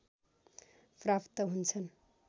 प्राप्त हुन्छन्